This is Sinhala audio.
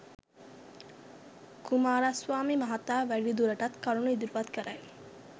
කුමාරස්වාමී මහතා වැඩිදුරටත් කරුණු ඉදිරිපත් කරයි